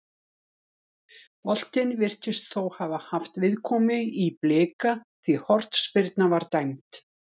Boltinn virðist þó hafa haft viðkomu í Blika því hornspyrna var dæmd.